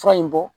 Fura in bɔ